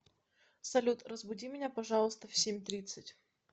салют разбуди меня пожалуйста в семь тридцать